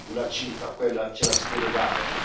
una cifra, quella ce la si deve dare.